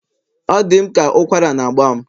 Ọ dị m ka ụkwara na-agba m